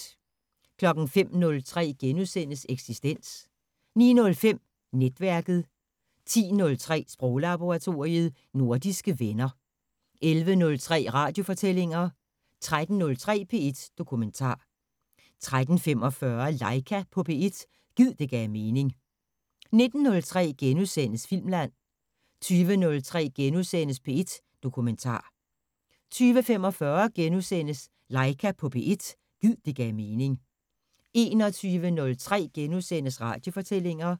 05:03: Eksistens * 09:05: Netværket 10:03: Sproglaboratoriet: Nordiske venner 11:03: Radiofortællinger 13:03: P1 Dokumentar 13:45: Laika på P1 – gid det gav mening 19:03: Filmland * 20:03: P1 Dokumentar * 20:45: Laika på P1 – gid det gav mening * 21:03: Radiofortællinger *